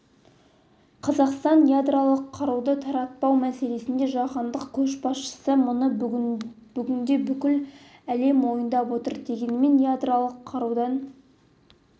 қазақстан ядролық қаруды таратпау мәселесінде жаһандық көшбасшы мұны бүгінде бүкіл әлем мойындап отыр дегенмен ядролық қарудан